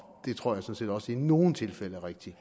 det tror jeg sådan set også i nogle tilfælde er rigtigt